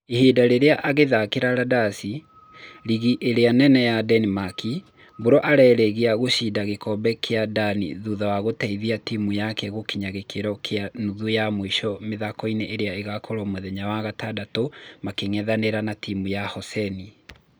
Ihinda rĩrĩ agĩthakĩra Randasi, rigi ĩrĩa nene Denimaki, Mbũrũ arageria gũcinda gĩkombe kĩa Dani thutha wa gũteithia timũ yake gũkĩnya gĩkĩro kĩa nuthu ya mũico mĩthako ĩrĩa ĩgakorwo mũthenya wa gatandatũ makĩng'ethanĩra na timũ ya Hoseni.